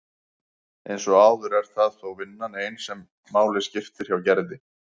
Eins og áður er það þó vinnan ein sem máli skiptir hjá Gerði.